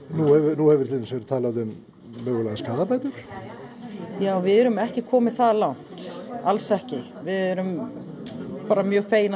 nú hefur til dæmis verið talað um mögulegar skaðabætur við erum ekki komin það langt alls ekki við erum bara mjög fegin að